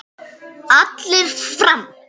Allir fram!